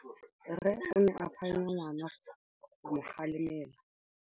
Rre o ne a phanya ngwana go mo galemela.